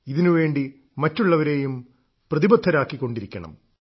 ഇതിനുവേണ്ടി മറ്റുള്ളവരേയും പ്രതിബദ്ധരാക്കിക്കൊണ്ടിരിക്കണം